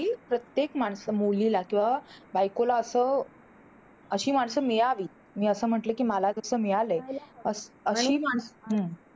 प्रत्येक माणसं मुलीला किंवा बायकोला असं अशी माणसं मिळाली. मी असं म्हटलं कि मला जसं मिळालंय. असं अशी माणसं